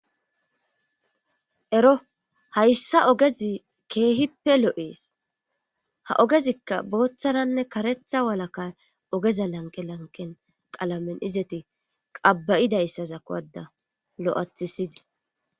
Ero hayssa ogezi keehippe lo7es ha ogezikka booththaranne karetha walaka ogeza lanqe lanqen qalamen izeti qaba'idayssa za kowada lo7athisidi.